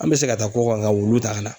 An bɛ se ka taa kɔkan ka wulu ta ka na.